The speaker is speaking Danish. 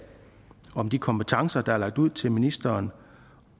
om de kompetencer der er lagt ud til ministeren